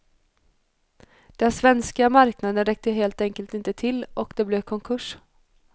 Den svenska marknaden räckte helt enkelt inte till och det blev konkurs.